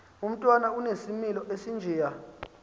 umntwana onesimilo esinjeya